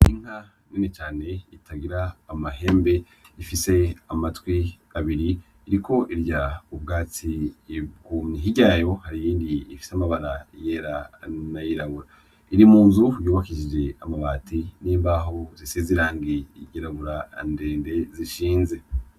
Inka nini cane itagira amahembe ifise amatwi abiri iriko irya ubwatsi bwumye, hirya yayo hari iyindi ifise amabara yera n'ayirabura iri munzu yubakishije amabati n'imbaho zisize irangi ry'irabura ndende zishinze.